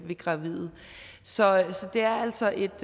gravide så det er altså et